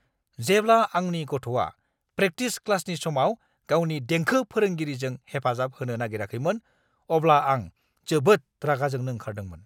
जेब्ला आंनि गथ'आ प्रेकटिस क्लासनि समाव गावनि देंखो फोरोंगिरिजों हेफाजाब होनो नागिराखैमोन, अब्ला आं जोबोद रागां जोंनो ओंखारदोंमोन!